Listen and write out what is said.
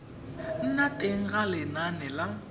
nna teng ga lenane la